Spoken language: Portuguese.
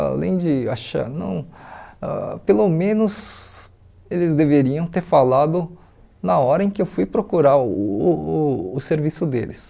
Além de achar, não ãh pelo menos eles deveriam ter falado na hora em que eu fui procurar uh uh o serviço deles.